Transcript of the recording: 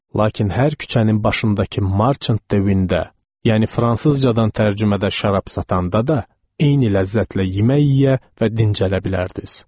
Lakin hər küçənin başındakı marçent devində, yəni fransızcadan tərcümədə şərab satanda da eyni ləzzətlə yemək yeyə və dincələ bilərdiniz.